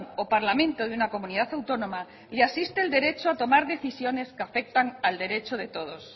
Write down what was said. o parlamento de una comunidad autónoma le asiste el derecho a tomar decisiones que afectan al derecho de todos